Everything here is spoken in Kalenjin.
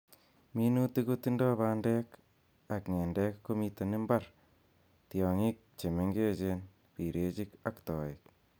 Minutik kotindoi bandek ak ng'endek komiten imbar, tiongik che mengechen, birechik ak toiik.